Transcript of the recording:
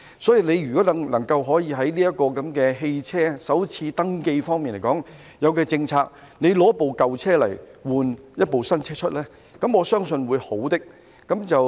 如果局長能就汽車首次登記提出政策，以舊車更換一部新車，我相信是一件好事。